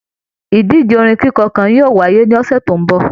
Ìdíje orin kikọ kàn yóò wáyé ní ọsẹ tó n bọ.